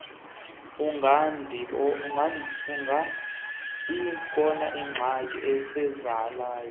kungabikoh zingxaki zisalayo